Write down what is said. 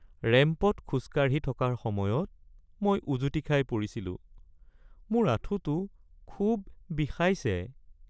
ৰেম্পত খোজকাঢ়ি থকাৰ সময়ত মই উজুটি খাই পৰিছিলোঁ। মোৰ আঁঠুটো খুব বিষাইছে।